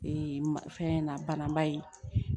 Ee fɛn na bananba ye